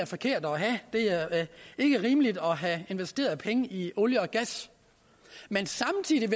forkerte at have det er ikke rimeligt at have investeret penge i olie og gas men samtidig